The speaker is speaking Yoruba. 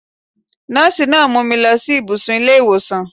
Nọ́ọ̀sí náà mú mi lọ sí ìbùsùn ilé ìwòsàn.